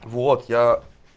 вот я